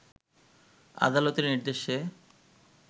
আলাদতের নির্দেশে